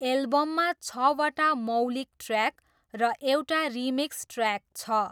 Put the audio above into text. एल्बममा छवटा मौलिक ट्र्याक र एउटा रिमिक्स ट्र्याक छ।